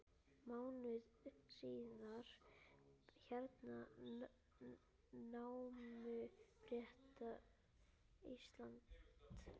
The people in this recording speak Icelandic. Mánuði síðar hernámu Bretar Ísland.